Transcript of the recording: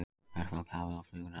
Verkfall hafið og flug raskast